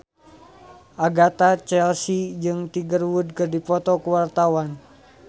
Agatha Chelsea jeung Tiger Wood keur dipoto ku wartawan